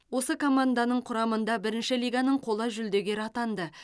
осы команданың құрамында бірінші лиганың қола жүлдегері атанды